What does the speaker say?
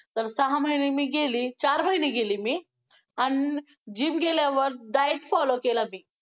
तर सहा महिने मी गेली, चार महिने गेली मी आन gym गेल्यावर diet follow केला मी.